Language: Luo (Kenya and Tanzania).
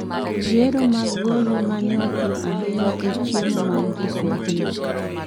Yiero mag golo maneopim ahinya e chiemo mag joswahili